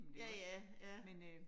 Ja ja, ja